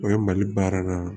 O ye mali baara la